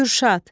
Gürşad.